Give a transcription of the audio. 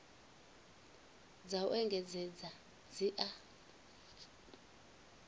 dza u engedzedza dzi a